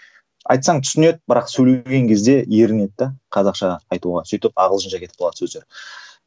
айтсаң түсінеді бірақ сөйлеген кезде ерінеді де қазақша айтуға сөйтіп ағылшынша кетіп қалады сөзі